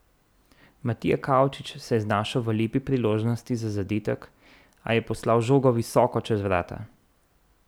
Matija Kavčič se je znašel v lepi priložnosti za zadetek, a je poslal žogo visoko čez vrata.